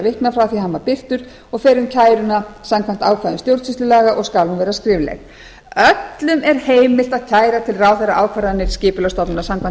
því að hann var birtur og fer um kæruna samkvæmt ákvæðum stjórnsýslulaga og skal hún vera skrifleg öllum er heimilt að kæra til ráðherra ákvarðanir skipulagsstofnunar samkvæmt